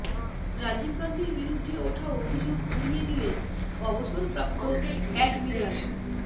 রাজীব গান্ধীর বিরুদ্ধে ওঠা অভিযোগ উড়িয়ে দিলেন অবসরপ্রাপ্ত অ্যাডমিরাল